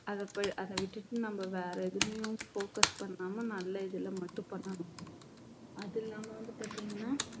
அத ப~ அத விட்டுட்டு நம்ம வேற எதிலேயும் focus பண்ணாம நல்ல இதுல மட்டும் பண்ணணும் அது இல்லாம வந்து பார்த்தீங்கன்னா